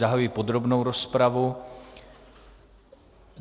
Zahajuji podrobnou rozpravu.